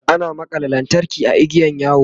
ana makalla kayan lantarki a igiyan yawo